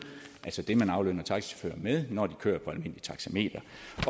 altså det man aflønner taxichauffører med når de kører på almindeligt taxameter